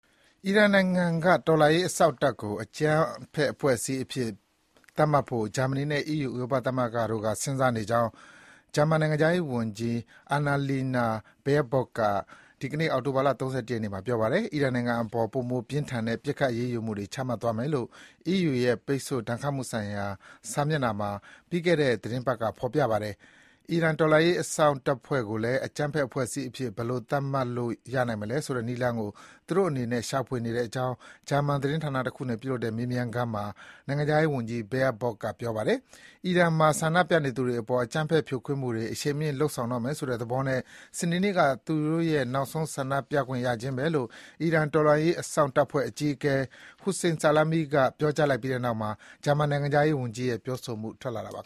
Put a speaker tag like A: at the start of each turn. A: အီရန်နိုင်ငံက တော်လှန်ရေးအစောင့်တပ်ကို အကြမ်းဖက်အဖွဲ့အစည်းအဖြစ် သတ်မှတ်ဖို့ ဂျာမနီနဲ့ အီးယူ ဥရောပသမဂ္ဂတို့က စဉ်းစားနေကြောင်း ဂျာမန်နိုင်ငံခြားရေးဝန်ကြီး Annalina Baerbock က ဒီကနေ့ အောက်တိုဘာ ၃၁ ရက်နေ့ မှာ ပြောပါတယ်။ အီရန်နိုင်ငံအပေါ် ပိုမိုပြင်းထန်တဲ့ ဒဏ်ခတ်အရေးယူမှုတွေ ချမှတ်သွားမယ်လို့ အီးယူရဲ့ပိတ်ဆို့ ဒဏ်ခတ်မှုဆိုင်ရာ စာမျက်နှာမှာ ပြီးခဲ့တဲ့ သီတင်းပတ်က ဖော်ပြထားပါတယ်။ အီရန်တော်လှန်ရေးအစောင့်တပ်ဖွဲ့ကိုလည်း အကြမ်းဖက်အဖွဲ့အစည်းအဖြစ် ဘယ်လိုသတ်မှတ်လို့ရနိုင်မလဲဆိုတဲ့နည်းလမ်းကို သူတို့အနေနဲ့ ရှာဖွေနေတဲ့အကြောင်း ဂျာမန်သတင်းဌာနတခုနဲ့ပြုလုပ်တဲ့ မေးမြန်းခန်းမှာ နိုင်ငံခြားရေးဝန်ကြီး Baerbock က ပြောပါတယ်။ အီရန်မှာ ဆန္ဒပြနေသူတွေအပေါ် အကြမ်းဖက်ဖြိုခွင်းမှုတွေ အရှိန်မြင့်လုပ်ဆောင်တော့မယ်ဆိုတဲ့သဘောနဲ့ စနေနေ့ဟာ သူတို့ရဲ့ နောက်ဆုံးဆန္ဒပြခွင့်ရခြင်းပဲလို့ အီရန် တော်လှန်ရေးအစောင့်တပ်ဖွဲ့အကြီးအကဲ Hossein Salami က ပြောကြားလိုက်ပြီးတဲ့နောက်မှာ ဂျာမန် နိုင်ငံခြားရေးဝန်ကြီးရဲ့ ပြောဆိုမှုထွက်ပေါ်လာတာပါ။